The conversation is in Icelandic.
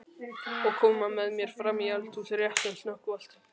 Og koma með mér fram í eldhús rétt sem snöggvast?